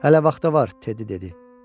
Hələ vaxt var, Teddi dedi.